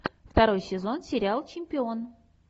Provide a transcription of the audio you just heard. второй сезон сериал чемпион